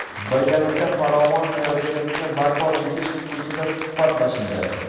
birgalikda farovon kelajagimizni barpo etish xususida suhbatlashildi.